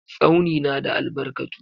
Tsauni na da albarkatu.